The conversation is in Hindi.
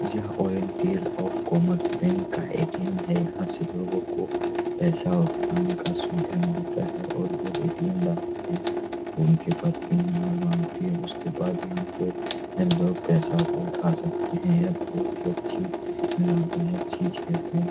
यह ओरिएन्टल ऑफ कॉमर्स बैंक का ए.टी.एम. है। यहाँ से लोगों को पैसा उठाने का सुविधा मिलता है और लोग ए.टी.एम. डालते हैं उनके बाद पिन नंबर मांगते है। उसके बाद यहाँ पे लोग पैसा को उठा सकते हैं। यह बहुत ही अच्छी लाभदायक चीज है।